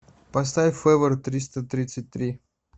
поставь фэвэр триста тридцать три